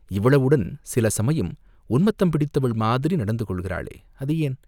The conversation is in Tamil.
இவ்வளவுடன் சில சமயம் உன்மத்தம் பிடித்தவள் மாதிரி நடந்து கொள்கிறாளே, அது ஏன்?